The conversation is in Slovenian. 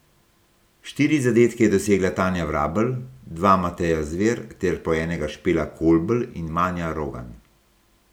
Štiri zadetke je dosegla Tanja Vrabel, dva Mateja Zver ter po enega Špela Kolbl in Manja Rogan.